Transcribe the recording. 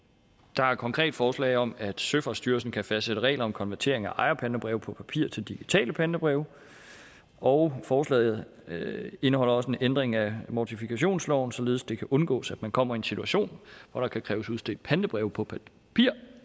der er et konkret forslag om at søfartsstyrelsen kan fastsætte regler om konvertering af ejerpantebreve på papir til digitale pantebreve og forslaget indeholder også en ændring af mortifikationsloven således at det kan undgås at man kommer i en situation hvor der kan kræves udstedt pantebreve på papir